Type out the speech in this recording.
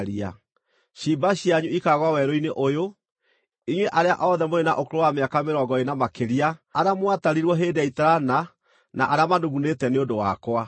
Ciimba cianyu ikaagũa werũ-inĩ ũyũ, inyuĩ arĩa othe mũrĩ na ũkũrũ wa mĩaka mĩrongo ĩĩrĩ na makĩria arĩa mwatarirwo hĩndĩ ya itarana na arĩa manugunĩte nĩ ũndũ wakwa.